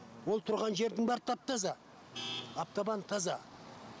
ол тұрған жердің бәрі тап таза аптабан таза